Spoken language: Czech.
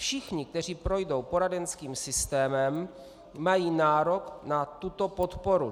Všichni, kteří projdou poradenským systémem, mají nárok na tuto podporu.